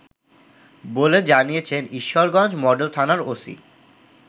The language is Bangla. বলে জানিয়েছেন ঈশ্বরগঞ্জ মডেল থানার ওসি